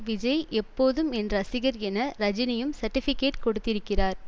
விஜய் எப்போதும் என் ரசிகர் என ரஜினியும் சர்ட்டிபிகெட் கொடுத்திருக்கிறார்